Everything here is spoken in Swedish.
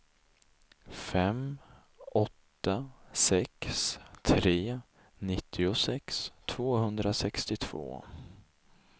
fem åtta sex tre nittiosex tvåhundrasextiotvå